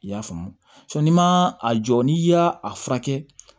I y'a faamu n'i ma a jɔ n'i y'a a furakɛ